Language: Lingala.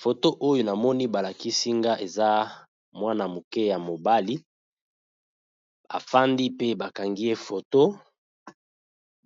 Photo oyo na moni ba lakisi nga eza mwana muke ya mobali a fandi pe ba kangi ye photo,